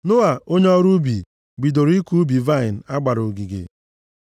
Noa, onye ọrụ ubi, bidoro ịkụ ubi vaịnị a gbara ogige.